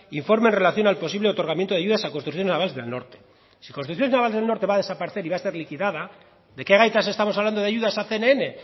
informe en relación al posible otorgamiento de ayudas a construcciones navales del norte si construcciones navales del norte va a desaparecer y va a ser liquidada de qué gaitas estamos hablando de ayudas a cnn